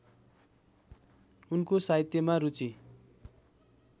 उनको साहित्यमा रुचि